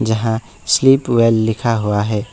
यहां स्लीपवेल लिखा हुआ है।